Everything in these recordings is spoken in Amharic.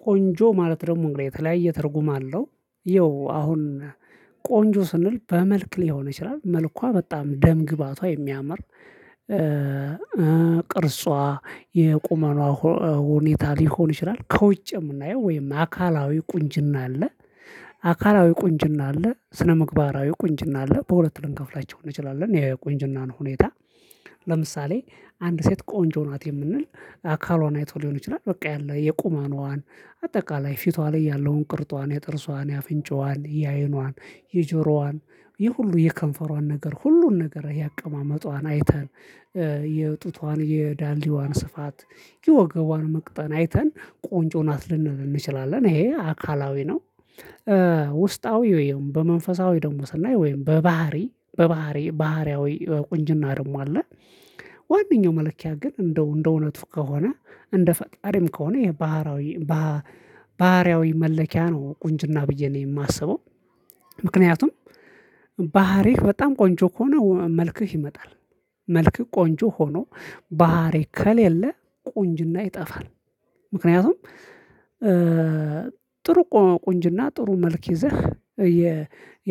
ቆንጆ ማለት ደግሞ እንግዲህ የተለያየ ትርጉም አለው ይኸው አሁን ቆንጆ ስንል በመልክ ሊሆን ይችላል መልኳ በጣም ደም ግባቷ የሚያምር ቅርጿ የቁመናዋ ሁኔታ ሊሆን ይችላል ከውጭ የምናየው ወይም አካላዊ ቁንጅና አለ። አካላዊ ቁንጅና አለ ስነምግባራዊ ቁንጅና አለ በሁለት ልንከፍላቸው እንችላለን የቁንጅናን ሁኔታ። ለምሳሌ አንድ ሴት ቆንጆ ናት የምንል አካሏን አይቶ ሊሆን ይችላል በቃ ያለ የቁመነዋን ፊቷ ላይ ያለውን ቅርጧን የጥርሷን የአፍንጫዋን የአይኗን የጆሮዋን የሁሉ የከንፈሯን ነገር ሁሉን ነገር የአቀማመጧን አይተን የጡቷን የዳሌዋን ስፋት የወገቧን መቅጠን አይተን ቆንጆ ናት ልንል እንችላለን ይሄ አካላዊ ነው። ውስጣዊ ወይም በመንፈሳዊ ደግሞ ስናይ ወይም በባህሪ በባህሪ ባህሪያዊ ቁንጅና ደግሞ አለ። ዋናው መለኪያ ግን እንደው እንደው እውነቱ ከሆነ እንደ ፈጣሪም ከሆነ ይሄ ባህሪያዊ መለኪያ ነው ቁንጅና ብዬ ነው የማስበው። ምክንያቱም ባህሪህ በጣም ቆንጆ ከሆነ መልክህ ይመጣል። መልክ ቆንጆ ሆኖ ባህሪ ከሌለ ቆንጅና ይጠፋል። ምክንያቱም ጥሩ ቁንጅና ጥሩ መልክ ይዘህ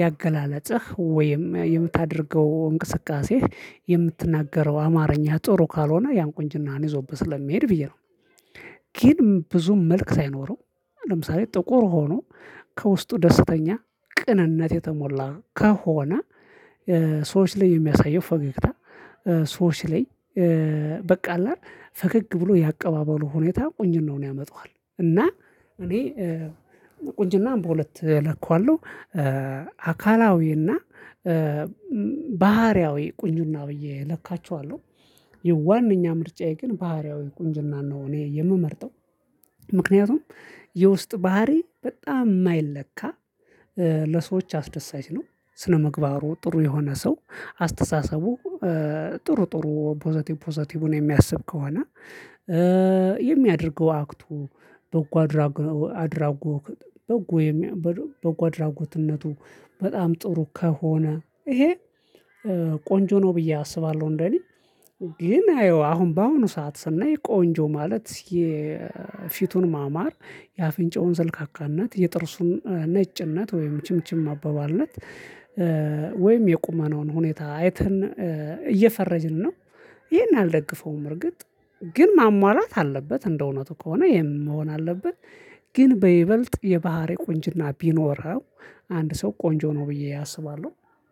ያገላለጸህ ወይም የምታደርገው እንቅስቃሴ የምትናገረው አማርኛ ጥሩ ካልሆነ ያን ቁንጅናን ይዞብህ ስለሚሄድ ብዬ ነው። ግን ብዙ መልክ ሳይኖረው ለምሳሌ ጥቁር ሆኖ ከውስጡ ደስተኛ ቅንነት የተሞላ ከሆነ ሰዎች ላይ የሚያሳየው ፈገግታ ሰዎች ላይ በቃ አለ ፈገግ ብሎ ያቀባበሉ ሁኔታ ቁንጅናውን ያመጣዋል። እና እኔ ቁንጅና በሁለት እለከዋለሁ አካላዊና ባህሪያዊ ቁኝና ብዬ እለካችዋለሁ። የዋነኛ ምርጫዬ ግን ባህሪያዊ ቁንጅና ነው እኔ የምመርጠው። ምክንያቱም የውስጥ ባህሪ በጣም የማይለካ ለሰዎች አስደሳች ነው። ስነምግባሩ ጥሩ የሆነ ሰው አስተሳሰቡ ጥሩ ጥሩ ፖዘቲቭ ፖዘቲቭን የሚያስብ ከሆነ የሚያደርገው አክቱ በጎ አድራጎትነቱ በጣም ጥሩ ከሆነ ይሄ ቆንጆ ነው ብዬ አስባለሁ። እንደኔ ይሄን አየው አሁን በአሁኑ ሰዓት ስናይ ቆንጆ ማለት የፊቱን ማማር የአፍንጫውን ሰልካካነት የጥርሱን ነጭነት ወይም ችምችም አበባልነት ወይም የቁመናውን ሁኔታ አይተን እየፈረጅን ነው። ይሄን አልደግፈውም እርግጥ ግን ማሟላት አለበት እንደው እውነቱ ከሆነ የመሆን አለበት ግን በይበልጥ የባህሪ ቁንጅና ቢኖረው አንድ ሰው ቆንጆ ነው ብዬ አስባለሁ